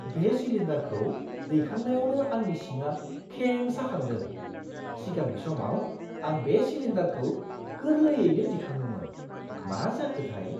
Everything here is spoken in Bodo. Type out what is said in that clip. बे सिलिन्डारखौ दैखांनायावनो आंनि सिंआ खें साखांदों, सिगांनि समाव आं बे सिलिन्डारखौ गोरलैयैनो दिखाङोमोन। मा जाखोथाय!